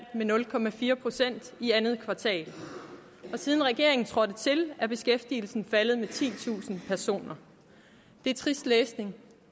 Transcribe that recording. med nul procent i andet kvartal og siden regeringen trådte til er beskæftigelsen faldet med titusind personer det er trist læsning